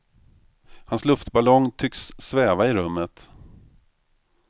Hans luftballong tycks sväva i rummet.